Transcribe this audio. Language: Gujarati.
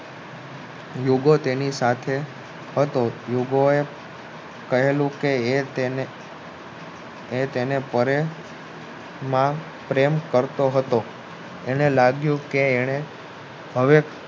યુગો તેની પાસે હતો યુગો એ કહેલું એ તેને પ્ર્રેમ ન કરતો હતો એને લાગ્યું કે એને હવે